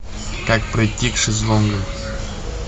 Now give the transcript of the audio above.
как пройти к шезлонгам